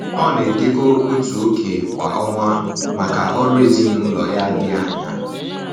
Ọ na-edekọ otu oké kwa ọnwa maka ọrụ ezinaụlọ ya dị anya